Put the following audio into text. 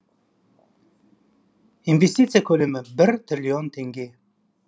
инвестиция көлемі бір триллион теңге